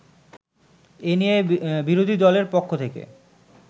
এ নিয়ে বিরোধীদলের পক্ষ থেকে